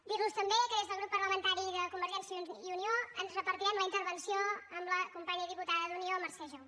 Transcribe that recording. dir los també que des del grup parlamentari de convergència i unió ens repartirem la intervenció amb la companya i diputada d’unió mercè jou